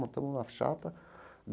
Montamos uma chapa.